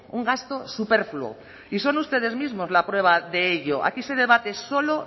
un gasto superfluo y son ustedes mismos la prueba de ello aquí se debate solo